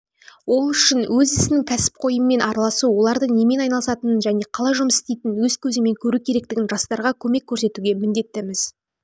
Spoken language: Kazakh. ол үшін өз ісінің кәсіпқойымен араласу оларды немен айналысатының және қалай жұмыс істейтінің өз көзімен көру керектігін жастарға көмек көрсетуге міндеттіміз